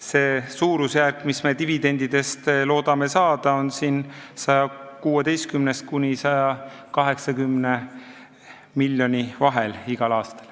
See suurusjärk, mis me dividendidest loodame saada, on 116 ja 180 miljoni vahel igal aastal.